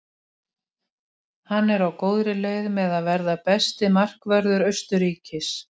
Af vatnabobbum eru til fjölmörg afbrigði og ótal undirtegundir.